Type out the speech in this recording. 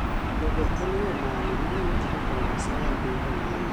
to be en yoo mane manyalo tieko kao asoya e piny tanzania?